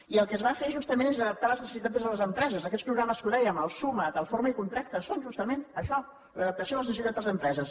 i el que es va fer justament és adaptar les necessitats des de les empreses aquests programes que dèiem el suma’t el forma i contracta són justament això l’adaptació a les necessitats de les empreses